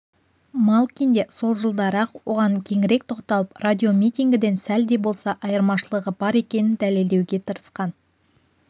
малкин де сол жылдары-ақ оған кеңірек тоқталып радиомитингіден сәл де болса айырмашылығы бар екенін дәлелдеуге тырысқан